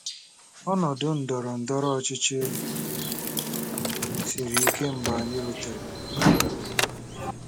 Ọnọdụ ndọrọ ndọrọ ọchịchị siri ike mgbe anyị rutere.